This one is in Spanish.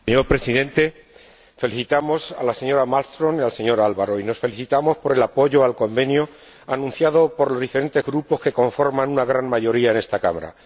Señor Presidente, felicitamos a la señora Malmström y al señor Alvaro, y nos felicitamos por el apoyo al Acuerdo anunciado por los diferentes grupos que conforman una gran mayoría en esta Cámara.